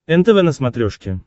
нтв на смотрешке